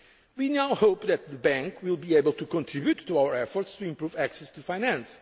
of the EIB. We now hope that the EIB will be able to contribute to our efforts to improve access